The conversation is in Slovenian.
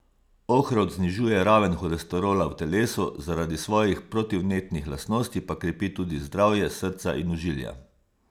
Ohrovt znižuje raven holesterola v telesu, zaradi svojih protivnetnih lastnosti pa krepi tudi zdravje srca in ožilja.